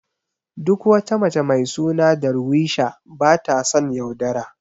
Duk wata mace mai suna Darweesha bata son yaudara.